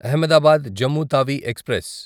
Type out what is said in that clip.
Ahmedabad Jammu Tawi express